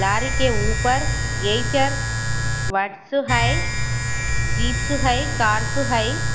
लारी के ऊपर येचर वर्स है जिब्स है कार्स है।